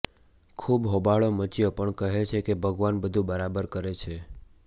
ખૂબ હોબાળો મચ્યો પણ કહે છે કે ભગવાન બધુ બરાબર કરે છે